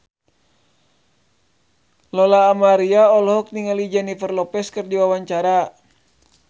Lola Amaria olohok ningali Jennifer Lopez keur diwawancara